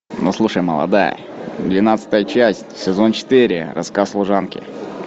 ну слушай молодая двенадцатая часть сезон четыре рассказ служанки